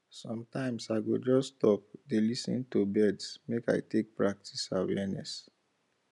sometimes i go just stop dey lis ten to birds make i i take practice awareness